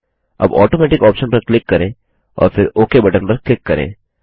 अब Automaticऑप्शन पर क्लिक करें और फिर ओक बटन पर क्लिक करें